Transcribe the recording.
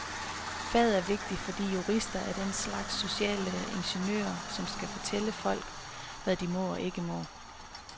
Faget er vigtigt, fordi jurister er en slags sociale ingeniører, som skal fortælle folk, hvad de må og ikke må.